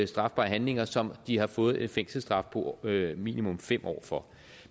strafbare handlinger som de har fået en fængselsstraf på minimum fem år for